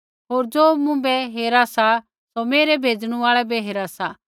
होर ज़ो मुँभै हेरा सौ मेरै भेजणु आल़ै बै हेरा सा